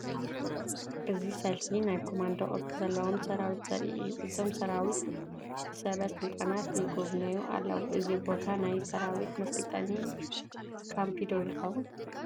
እዚ ሰልፊ ናይ ኮማንዶ ቅርፂ ዘለዎም ሰራዊት ዘርኢ እዩ፡፡ እዞም ሰራዊት ብሰበ ስልጣናት ይጉብነዩ ኣለዉ፡፡ እዚ ቦታ ናይ ሰራዊት መሰልጠኒ ካምፒ ዶ ይኸውን?